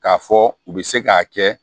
K'a fɔ u bɛ se k'a kɛ